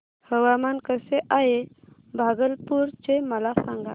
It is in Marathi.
हवामान कसे आहे भागलपुर चे मला सांगा